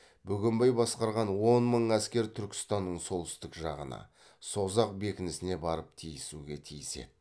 бөгенбай басқарған он мың әскер түркістанның солтүстік жағына созақ бекінісіне барып тиісуге тиіс еді